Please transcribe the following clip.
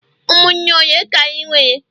umunne ole ka i nwere?